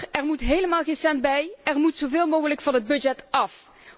Er moet helemaal geen cent bij, er moet zoveel mogelijk van het budget af.